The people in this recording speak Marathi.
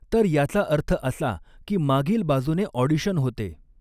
तर याचा अर्थ असा की मागील बाजूने ऑडीशन होते.